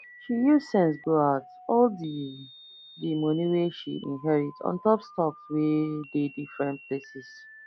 she use sense go out all the the money wey she inherit untop stocks wey dey different places